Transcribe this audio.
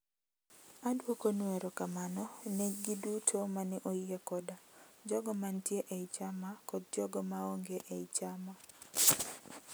"Adwokonu erokamano ne gi duto mane oyie koda, jogo mantie ei chama kod jogo maonge ei chama.